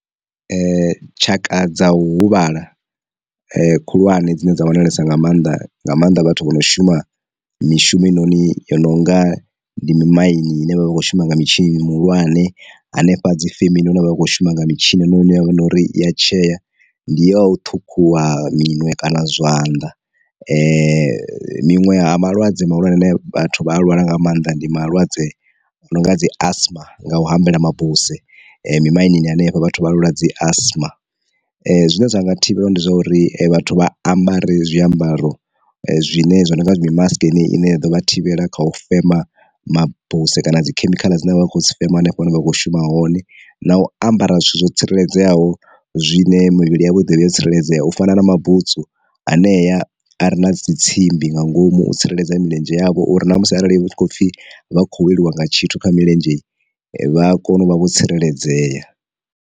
Tshaka dza u huvhala khulwane dzine dza wanalesa nga maanḓa nga maanḓa vhathu vho no shuma mishumo heinoni yo no nga ndi mi maini hune vha vha khou shuma mitshini mihulwane, hanefha dzi femeni hune vha vha kho shuma nga mitshino ine yavha na uri i ya tshea, ndi ya u ṱhukhuwa miṅwe kana zwanḓa, miṅwe ha malwadze malwadze ane vhathu vha a lwala nga maanḓa ndi malwadze a no nga dzi asma nga u hambela mabuse mi mainini hanefho vhathu vha nwala dzi asma. Zwine zwa nga thivhela ndi zwa uri vhathu vha ambare zwi ambaro zwine zwo no nga mi mask yeneyi ine ya ḓovha thivhela kha u fema mabuse kana dzi khemikhala dzine vha khodzi fema hanefho hune vha kho shuma hone, na u ambara zwithu zwo tsireledzeaho zwine mivhili yavho i ḓovha yo tsireledzea u fana na mabutswu anea a re na dzi tsimbi nga ngomu tsireledzea milenzhe yavho, uri na musi arali hu khou pfhi vha kho weliwa nga tshithu kha milenzhe, vha kone u vha vho tsireledzea.